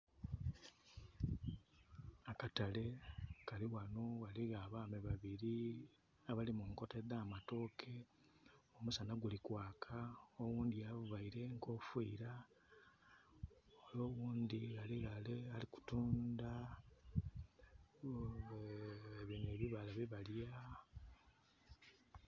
Akatale kali ghano ghaligho abaami babiri abali mu nkota edh'amatooke omusana guli kwaka oghundhi availe enkofira ole oghundhi ali ghale ali kutunda bino ebibala byebalya.